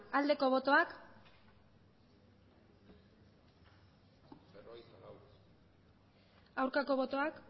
aldeko botoak aurkako botoak